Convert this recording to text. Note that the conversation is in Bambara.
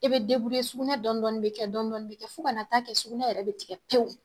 I bɛ sugunɛ dɔɔnin dɔɔnin bɛ kɛ dɔɔnin dɔɔnin bɛ kɛ fo ka na taa kɛ sugunɛ yɛrɛ bɛ tigɛ pewu